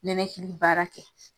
Ninakili baara kɛ.